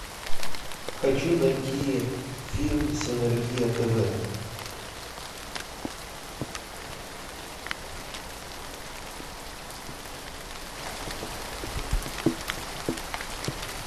хочу найти фильм синергия тв